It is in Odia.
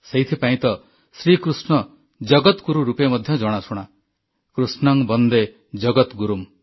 ସେଇଥିପାଇଁ ତ ଶ୍ରୀ କୃଷ୍ଣ ଜଗତ୍ ଗୁରୁ ରୂପେ ମଧ୍ୟ ଜଣାଶୁଣା କୃଷ୍ଣଂ ବନ୍ଦେ ଜଗଦଗୁରୁମ୍